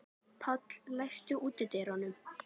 Páll, læstu útidyrunum.